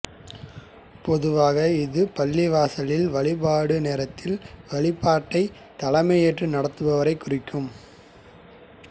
பொதுவாக இது பள்ளிவாசலில் வழிபாடு நேரத்தில் வழிபாட்டை தலைமை ஏற்று நடத்துபவரை குறிக்கும்